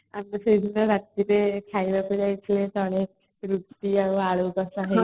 ଆମେ ସେଇଦିନ ରାତିରେ ଖାଇବାକୁ ଯାଇଥିଲେ ରୁଟି ଆଉ ଆଳୁ କଷା